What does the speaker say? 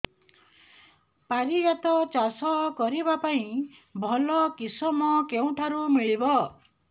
ପାରିଜାତ ଚାଷ କରିବା ପାଇଁ ଭଲ କିଶମ କେଉଁଠାରୁ ମିଳିବ